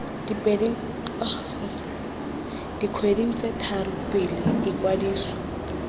dikgweding tse tharo pele ikwadiso